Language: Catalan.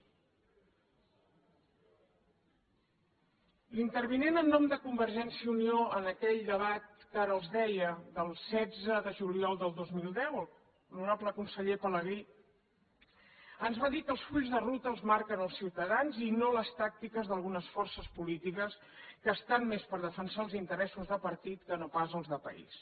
l’intervinent en nom de convergència i unió en aquell debat que ara els deia del setze de juliol del dos mil deu l’honorable conseller pelegrí ens va dir que els fulls de ruta els marquen els ciutadans i no les tàctiques d’algunes forces polítiques que estan més per defensar els interessos de partit que no pas els de país